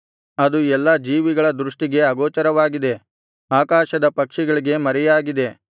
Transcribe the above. ಅದು ಎಲ್ಲಾ ಜೀವಿಗಳ ದೃಷ್ಟಿಗೆ ಅಗೋಚರವಾಗಿದೆ ಆಕಾಶದ ಪಕ್ಷಿಗಳಿಗೆ ಮರೆಯಾಗಿದೆ